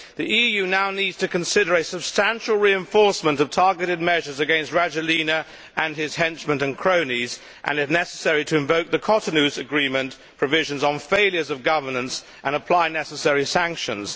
The EU now needs to consider a substantial reinforcement of targeted measures against Rajoelina and his henchmen and cronies and, if necessary, to invoke the Cotonou Agreement's provisions on failures of governance and to apply the necessary sanctions.